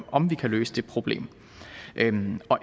om vi kan løse det problem endelig er